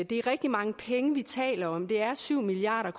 det er rigtig mange penge vi taler om det er syv milliard